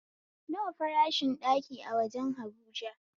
Nawa farashin ɗaki a wajen habuja?